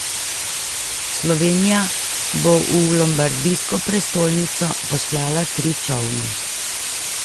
Slovenija bo v lombardijsko prestolnico poslala tri čolne.